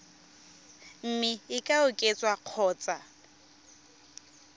mme e ka oketswa kgotsa